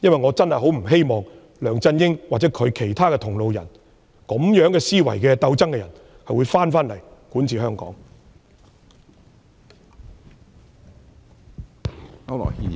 我真的不希望梁振英或與他同路的人，以同樣的思維和競爭心態管治香港。